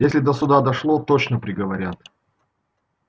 если до суда дошло точно приговорят